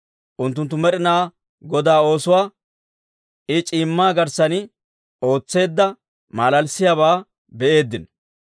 Unttunttu Med'inaa Godaa oosuwaa, I c'iimmaa garssan ootseedda malalissiyaabaa be'eeddino.